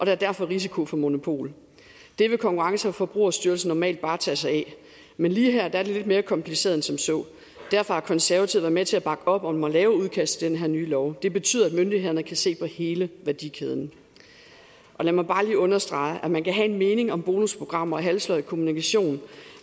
er derfor risiko for monopol det ville konkurrence og forbrugerstyrelsen normalt bare tage sig af men lige her er det lidt mere kompliceret end som så derfor har konservative været med til at bakke op om at lave et udkast til den her nye lov det betyder at myndighederne kan se på hele værdikæden lad mig bare lige understrege at man kan have en mening om bonusprogrammer og halvsløj kommunikation